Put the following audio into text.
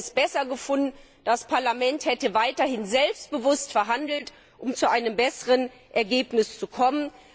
Wir hätten es besser gefunden, das Parlament hätte weiterhin selbstbewusst verhandelt, um zu einem besseren Ergebnis zu kommen.